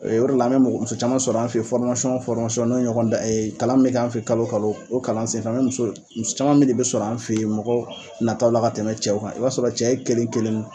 O yɔrɔ la an be mɔgɔ muso caman sɔrɔ an fe yen fɔrimasɔn o fɔrimasɔn n'o ye ɲɔgɔn dan ye kalan min be kan fe yen kalo kalo o kalan sen fɛ ngo muso muso caman min de be sɔrɔ an fe yen mɔgɔ nataw la ka tɛmɛ cɛw kan i b'a sɔrɔ cɛ ye kelen kelenni